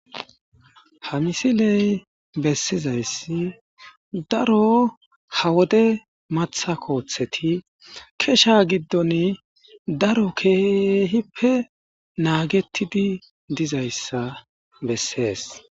ha misiley bessizayssi daro ha wode matha kooththeti kesha giddon daro keehippe naagettidi dizayssa bessees